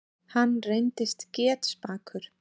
Hann reyndist getspakur.